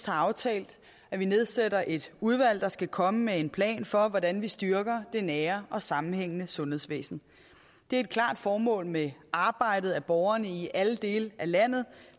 har aftalt at vi nedsætter et udvalg der skal komme med en plan for hvordan vi styrker det nære og sammenhængende sundhedsvæsen det er et klart formål med arbejdet at borgerne i alle dele af landet